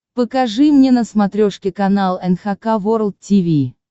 покажи мне на смотрешке канал эн эйч кей волд ти ви